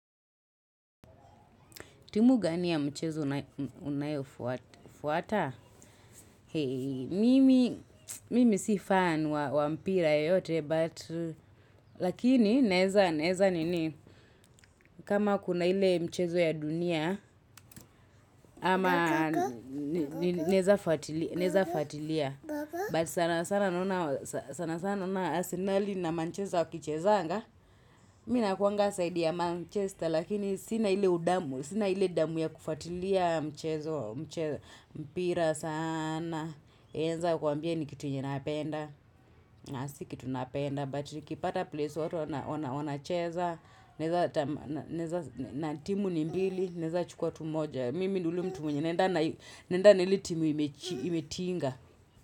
Timu gani ya mchezo unayo fuata? Mimi si fan wa mpira yote, but lakini naeza nini. Kama kuna ile mchezo ya dunia, ama naeza fatilia. But sana sana naona asenali na Manchester wakichezanga. Mi nakuanga saidi ya Manchester, lakini sina ile udamu, sina ile damu ya kufuatilia mchezo. Mpira sana, naeza kuambia ni kitu yenye napenda. Na si kitu napenda, but nikipata place watu wanacheza. Naeza na timu ni mbili, naeza chukua tu moja. Mimi ni yule mtu mwenye, naenda na ile timu imetinga.